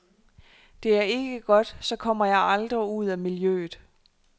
Det er ikke godt, så kommer jeg aldrig ud af miljøet.